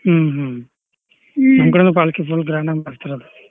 ಹ್ಮ್ ಹ್ಮ್ ನಮ್ ಕಡೆನೂ पालकी full grand ಆಗಿ ಮಾಡ್ತಾರೀ ಅದ.